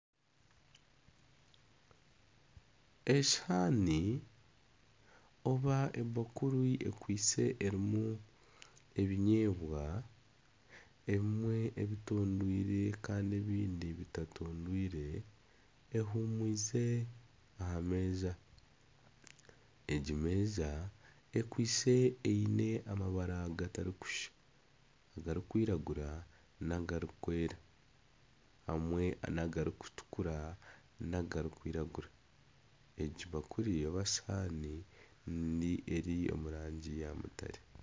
Esihaani oba ebakuri ekwaitse erimu ebinyeebwa, ebimwe ebitondoirwe kandi ebindi bitatondoirwe ehuumwize aha meeza. Egi meza ekwaitse eine amabara gatarikushusha agarikwiragura n'agarikwera, hamwe n'agarikutukura n'agarikwiragura. Egi bakuri oba sihaani eri omu rangi ya mutare.